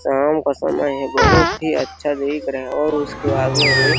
शाम का समय है बहुत ही अच्छा दिख रहा है और उसके आगे में --